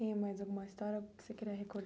Tem mais alguma história que você queria